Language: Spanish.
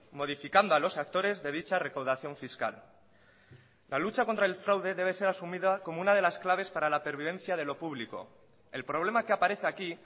modificando a los actores de dicha recaudación fiscal la lucha contra el fraude debe ser asumida como una de las claves para la pervivencia de lo público el problema que aparece aquí